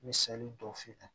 N bɛ sɔli don f'i ka